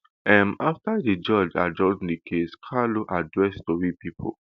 um afta di judge adjourn di case kanu address tori pipo